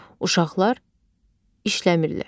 uşaqlar işləmirlər.